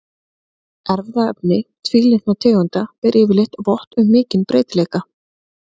Erfðaefni tvílitna tegunda ber yfirleitt vott um mikinn breytileika.